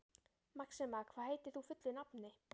Maxima, hvað heitir þú fullu nafni?